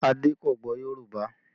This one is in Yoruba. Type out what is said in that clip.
Ade kò gbọ́ Yorùbá